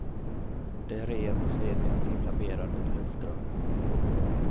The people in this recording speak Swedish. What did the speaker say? Det rev och slet i hans inflammerade luftrör.